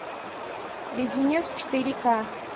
леденец четыре ка